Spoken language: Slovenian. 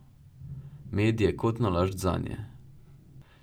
Med je kot nalašč zanje.